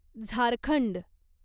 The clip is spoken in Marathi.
झारखंड